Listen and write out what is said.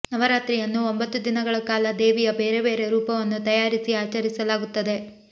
ನವರಾತ್ರಿಯನ್ನು ಒಂಬತ್ತು ದಿನಗಳ ಕಾಲ ದೇವಿಯ ಬೇರೆ ಬೇರೆ ರೂಪವನ್ನು ತಯಾರಿಸಿ ಆಚರಿಸಲಾಗುತ್ತದೆ